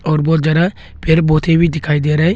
और बहुत जरा फिर भी दिखाई दे रहा है।